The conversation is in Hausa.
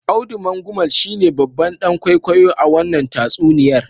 Audu Mangumal shine babban dan kwaikwayo a wannan tatsuniyar.